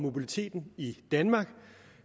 mobiliteten i danmark